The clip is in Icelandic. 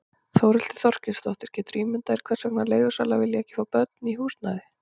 Þórhildur Þorkelsdóttir: Geturðu ímyndað þér hvers vegna leigusalar vilja ekki fá börn í húsnæði?